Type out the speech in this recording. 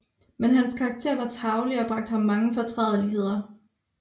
Men hans Karakter var tarvelig og bragte ham mange Fortrædeligheder